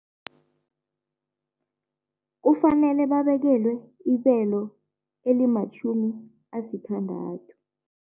Kufanele babekelwe ibelo elimatjhumi asithandathu.